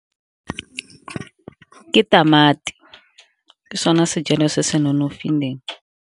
Ke tamati, ke sone sejalo se se nonofileng.